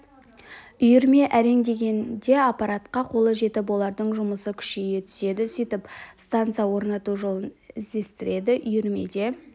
үйірме әрең дегенде аппаратқа қолы жетіп олардың жұмысы күшейе түседі сөйтіп станция орнату жолын іздестіреді үйірмеде